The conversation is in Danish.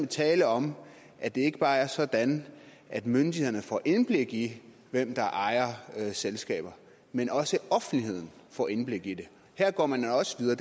tale om at det ikke bare er sådan at myndighederne får indblik i hvem der ejer selskaber men også offentligheden får indblik i det her går man også videre